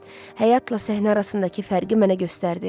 Həyatla səhnə arasındakı fərqi mənə göstərdi.